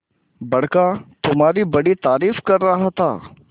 बड़का तुम्हारी बड़ी तारीफ कर रहा था